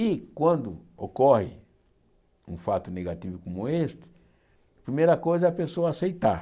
E, quando ocorre um fato negativo como este, a primeira coisa é a pessoa aceitar.